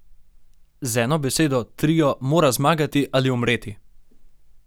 Z eno besedo, trio mora zmagati ali umreti!